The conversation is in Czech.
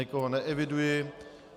Nikoho neeviduji.